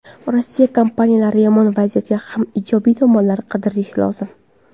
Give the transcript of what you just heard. Rossiya kompaniyalari yomon vaziyatda ham ijobiy tomonlarni qidirishlari lozim.